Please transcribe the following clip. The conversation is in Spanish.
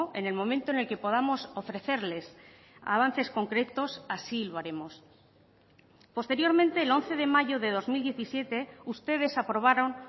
en el momento en el que podamos ofrecerles avances concretos así lo haremos posteriormente el once de mayo de dos mil diecisiete ustedes aprobaron